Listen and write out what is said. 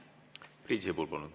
Priit Sibul, palun!